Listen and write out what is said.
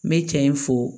Me cɛ in fo